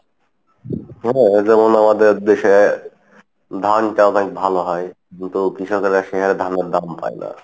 যেমন আমাদের দেশে ধান টা অনেক ভালো হয় কিন্তু কৃষকেরা সে হারে ধানের দাম পাই না।